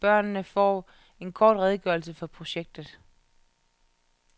Børnene får en kort redegørelse for projektet.